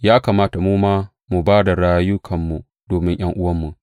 Ya kamata mu ma mu ba da rayukanmu domin ’yan’uwanmu.